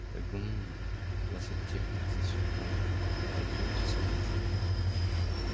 гм глаза техника засверкали пойдёмте со мной